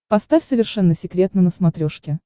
поставь совершенно секретно на смотрешке